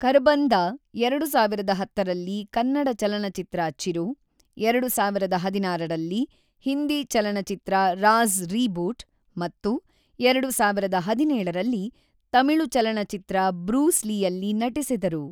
ಖರ್ಬಂದಾ ೨೦೧೦ರಲ್ಲಿ ಕನ್ನಡ ಚಲನಚಿತ್ರ ಚಿರು, ೨೦೧೬ರಲ್ಲಿ ಹಿಂದಿ ಚಲನಚಿತ್ರ ರಾಜ಼್: ರೀಬೂಟ್ ಮತ್ತು ೨೦೧೭ರಲ್ಲಿ ತಮಿಳು ಚಲನಚಿತ್ರ ಬ್ರೂಸ್ ಲೀಯಲ್ಲಿ ನಟಿಸಿದರು.